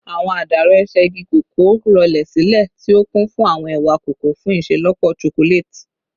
Awọn adarọ-ese igi koko rọlẹ silẹ, ti o kun fun awọn ewa koko fun iṣelọpọ chocolate